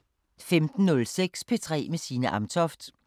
15:06: P3 med Signe Amtoft